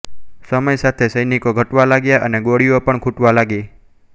સમય સાથે સૈનિકો ઘટવા લાગ્યા અને ગોળીઓ પણ ખૂટવા લાગી